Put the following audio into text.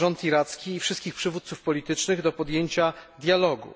Wzywa rząd iracki i wszystkich przywódców politycznych do podjęcia dialogu.